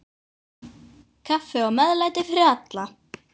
Kaffi og meðlæti fyrir alla.